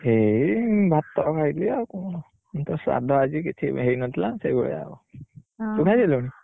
ଏଇ ଭାତ ଖାଇଲି ଆଉ କଣ? ଆଜି ତ ସାଧା ଆଜି କିଛି ହେଇନଥିଲା ସେଇ ଭଳିଆ ଆଉ, ତୁ ଖାଇ ସାରିଲୁଣି?